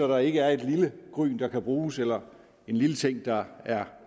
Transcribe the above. der ikke er et lille gryn der kan bruges eller en lille ting der er